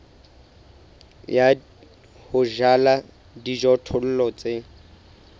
ya ho jala dijothollo tse